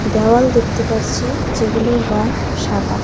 দেওয়াল দেখতে পারছি যেগুলোর রং সাদা।